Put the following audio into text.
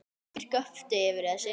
Margir göptu yfir þessu